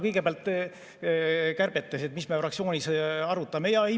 Kõigepealt kärbetest, mis me fraktsioonis arutame.